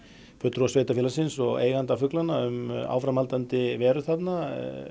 fulltrúa sveitarfélagsins og eiganda fuglanna um áframhaldandi veru þarna